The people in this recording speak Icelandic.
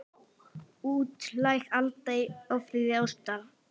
Útlæg Alda í ofríki ástar.